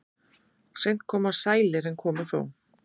Seint koma sælir en koma þó.